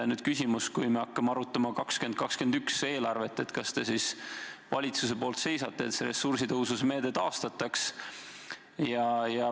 Nüüd küsimus: kui me hakkame arutama aasta 2021 eelarvet, kas te siis valitsuses seisate selle eest, et ressursitõhususe meede taastataks?